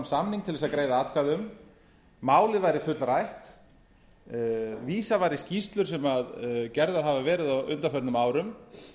samning til að greiða atkvæði um málið væri fullrætt vísað var í skýrslur sem gerðar hafa verið á undanförnum árum